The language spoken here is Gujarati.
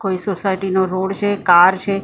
કોઈ સોસાયટી નો રોડ છે કાર છે. પબ્લિક આ--